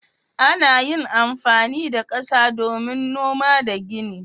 Ana yin amfani da kasa domin noma da gini.